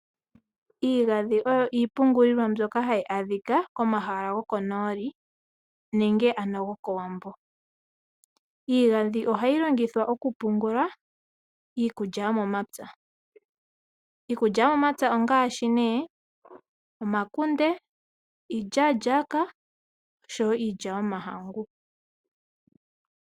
Iigandhi oyo iipungulilwa mbyoka hayi adhika komahala gokonooli nenge ano gokOwambo. Iigandhi ohayi longithwa okupungula iikulya yomomapya. Iikulya yomomapya ongaashi nee omakunde, iilyaalyaaka, osho wo iilya yomahangu.